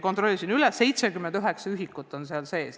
Kontrollisin üle, seal on 79 õppevara ühikut.